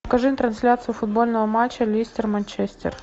покажи трансляцию футбольного матча лестер манчестер